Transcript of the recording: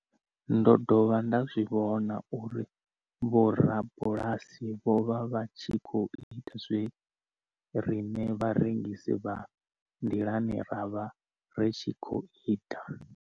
Ndo dovha nda zwi vhona uri vhorabulasi vho vha vha tshi khou ita zwe riṋe vharengisi vha nḓilani ra vha ri tshi khou ita.